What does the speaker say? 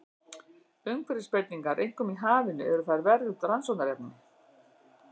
Umhverfisbreytingar, einkum í hafinu, eru þar verðugt rannsóknarefni.